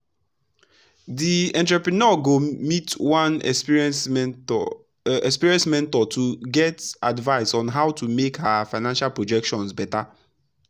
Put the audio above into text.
the entrepreneur go meet one experienced mentor experienced mentor to get advice on how to make her financial projections better.